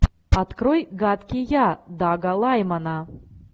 открой гадкий я дага лаймана